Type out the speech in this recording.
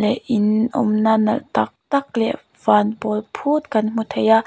leh in awmna nalh tak tak leh van pawl phut kan hmu thei a--